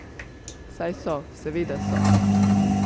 Saj so, seveda so.